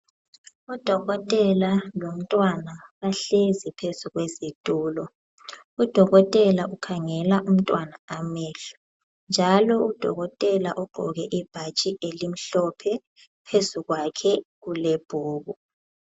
Udokotela lomntwana bahlezi phezu kwezitulo. Udokotela ukhangela umntwana amehlo njalo udokotela ugqoke ibhatshi elimhlophe phezu kwakhe kulebhuku.